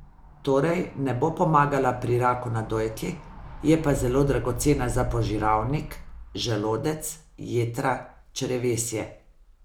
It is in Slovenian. Torej, ne bo pomagala pri raku na dojki, je pa zelo dragocena za požiralnik, želodec, jetra, črevesje ...